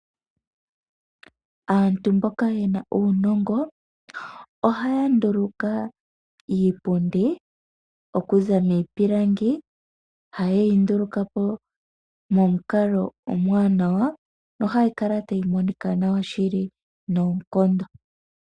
Aantu mbono yena uunongo, ohaya nduluka iipundi okuza miipilangi hayeyi nduluka po momukalo omwaanawa nohayi kala tayi monika nawa shili noonkondo.